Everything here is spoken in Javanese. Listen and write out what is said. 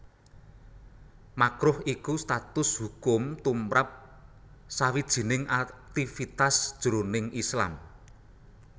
Makruh iku status hukum tumrap sawijining aktivitas jroning Islam